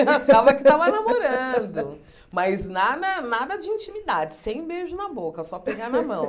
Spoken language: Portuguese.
Eu achava que tava namorando, mas nada nada de intimidade, sem beijo na boca, só pegar na mão.